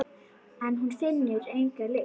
En hún finnur enga lykt.